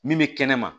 Min bɛ kɛnɛ ma